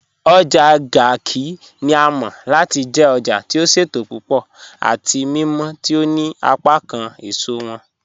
Ojá Garki ni à mọ̀ láti jẹ̀ òjá tí ó ṣétò púpọ̀ àti mímọ̀ tí ó ní apákán èṣọ wọn